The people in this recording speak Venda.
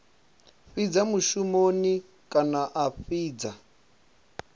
fhidza mushumoni kana a fhidza